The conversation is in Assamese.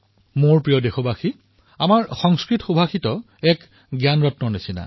মোৰ মৰমৰ দেশবাসীসকল আমাৰ সংস্কৃত সুভাষিত এক প্ৰকাৰে জ্ঞানৰ ভাণ্ডাৰ স্বৰূপ